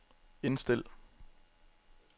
indstil